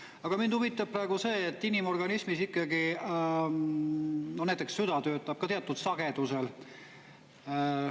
Aga mind huvitab see, et inimorganismis ikkagi näiteks süda töötab ka teatud sagedusel.